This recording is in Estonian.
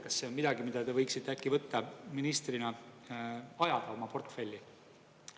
Kas see on midagi, mida te võiksite äkki ministrina ajada oma portfelli?